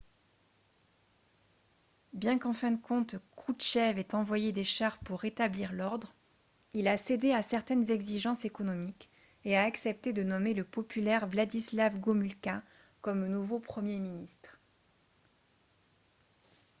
bien qu'en fin de compte kroutchev ait envoyé des chars pour rétablir l'ordre il a cédé à certaines exigences économiques et a accepté de nommer le populaire wladyslaw gomulka comme nouveau premier ministre